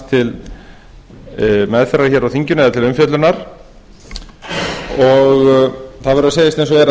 til meðferðar hér á þinginu eða til umfjöllunar það verður að segjast eins og er að